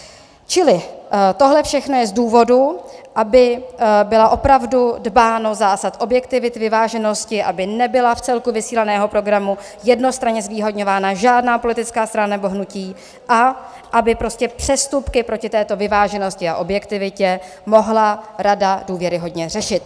Čili tohle všechno je z důvodu, aby bylo opravdu dbáno zásad objektivity, vyváženosti, aby nebyla v celku vysílaného programu jednostranně zvýhodňována žádná politická strana nebo hnutí a aby prostě přestupky proti této vyváženosti a objektivitě mohla rada důvěryhodně řešit.